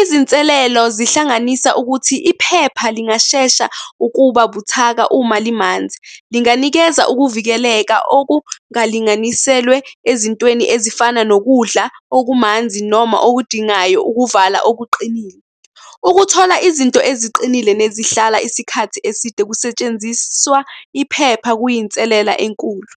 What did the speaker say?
Izinselelo zihlanganisa ukuthi iphepha lingashesha ukuba buthaka uma limanzi. Linganikeza ukuvikeleka okungalinganiselwe ezintweni ezifana nokudla okumanzi noma okudingayo ukuvala okuqinile. Ukuthola izinto eziqinile nezihlala isikhathi eside kusetshenziswa iphepha, kuyinselela enkulu.